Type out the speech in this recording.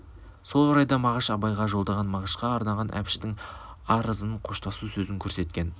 сол орайда мағаш абайға жолдаған мағышқа арнаған әбіштің арызын қоштасу сөзін көрсеткен